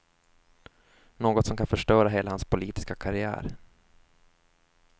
Något som kan förstöra hela hans politiska karriär.